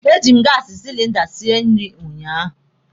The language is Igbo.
E ji m gaasi silinda sie nri ụnyaahụ.